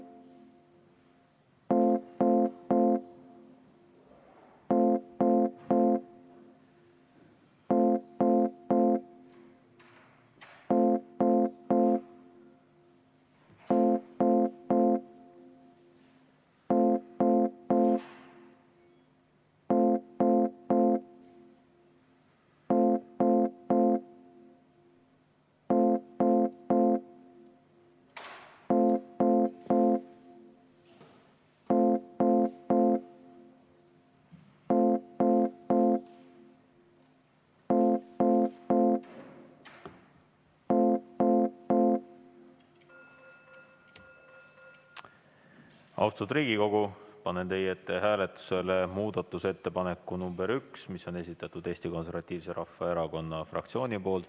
Austatud Riigikogu, panen teie ette hääletusele muudatusettepaneku nr 1, mille on esitanud Eesti Konservatiivse Rahvaerakonna fraktsioon.